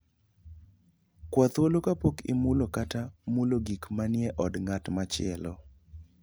Kwa thuolo kapok imulo kata mulo gik manie od ng'at machielo.